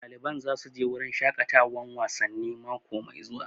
Ɗaliban za su je wurin shaƙatawan wasanni mako mai zuwa